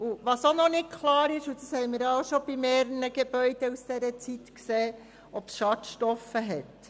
Auch noch nicht klar ist – und das haben wir auch schon bei mehreren Gebäuden aus dieser Zeit gesehen –, ob es Schadstoffe hat.